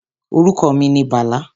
Orúkọ mi ni Bàlá